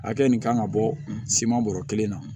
Hakɛ nin kan ka bɔ siman bɔrɔ kelen na